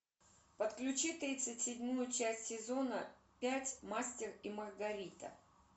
подключи тридцать седьмую часть сезона пять мастер и маргарита